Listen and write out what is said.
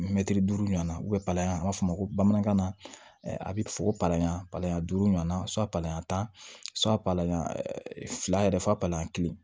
Mɛtiri duuru ɲɔana u bɛ palan an b'a fɔ bamanankan na a bɛ fɔ ko palan duuru ɲɔnna palan tan fila yɛrɛ fa payan kelen